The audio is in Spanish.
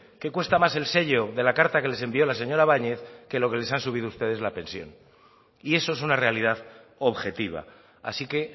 que cuesta más el sello de la carta que les envió la señora bañez que lo que les han subido ustedes la pensión y eso es una realidad objetiva así que